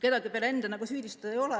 Kedagi peale enda nagu süüdistada ei ole.